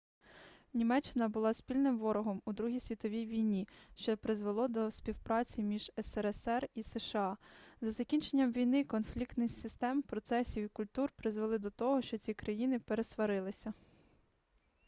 німеччина була спільним ворогом у другій світовій війні що призвело до співпраці між срср і сша з закінченням війни конфлікти систем процесів і культур призвели до того що ці країни пересварилися